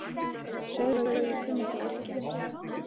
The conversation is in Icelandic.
Segðu svo að ég kunni ekki að yrkja!